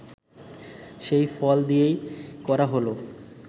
সেই ফল দিয়েই করা হল